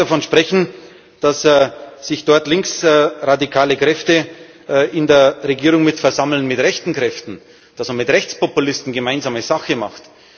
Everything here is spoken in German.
Ich möchte gar nicht davon sprechen, dass sich dort linksradikale Kräfte in der Regierung versammeln mit rechten Kräften, dass man mit Rechtspopulisten gemeinsame Sache macht.